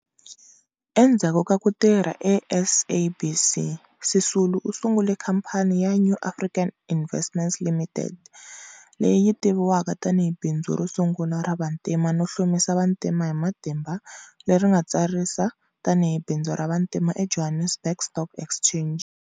Endzhaku ka ku tirha eSABC, Sisulu u sungule khampani ya New African Investments Limited, leyi yi tiviwaka tani hi bindzu ro sungula ra vantima no hlomisa vantima hi matimba leri ri nga tsarisa tani hi bindzu ra vantima eJohannesburg Stock Exchange.